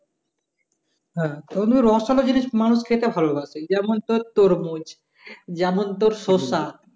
হ্যাঁ তবে রসালো জিনিস মানুষ খেতে ভালো বাসে যেমন তোর তরমুজ যেমন তোর শসা